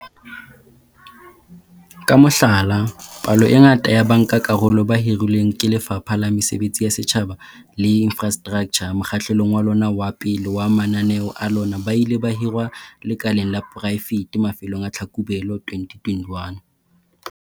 Ka mohlala, palo e ngata ya bankakarolo ba hirilweng ke Lefapha la Mesebetsi ya Setjhaba le Infrastraktjha mokgahlelong wa lona wa pele wa mananeo a lona ba ile ba hirwa lekaleng la poraefete mafelong a Tlhakubele 2021.